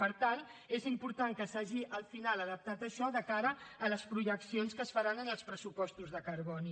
per tant és important que s’hagi al final adaptat això de cara a les projeccions que es faran en els pressupostos de carboni